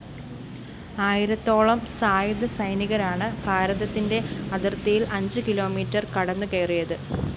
ആയിരത്തോളം സായുധ സൈനികരാണ് ഭാരതത്തിന്റെ അതിര്‍ത്തിയില്‍ അഞ്ച് കിലോമീറ്റർ കടന്നുകയറിയത്